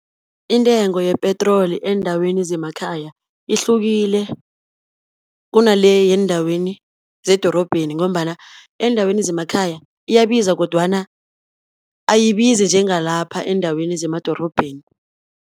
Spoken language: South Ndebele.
Intengo yepetroli eendaweni zemakhaya, ihlukile kunale yeendaweni zedorobheni, ngombana eendaweni zemakhaya iyabiza kodwana, ayibizi njengalapha eendaweni zemadorobheni.